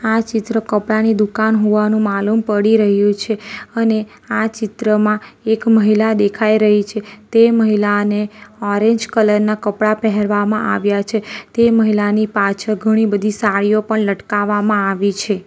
આ ચિત્ર કપડાની દુકાન હોવાનું માલુમ પડી રહ્યું છે અને આ ચિત્રમાં એક મહિલા દેખાઈ રહી છે તે મહિલાને ઓરેન્જ કલર ના કપડા પહેરવામાં આવ્યા છે તે મહિલાની પાછળ ઘણી બધી સાડીઓ પણ લટકાવવામાં આવી છે.